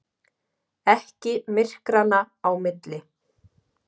Ekki myrkranna á milli.